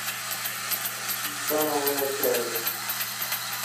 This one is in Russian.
становая тяга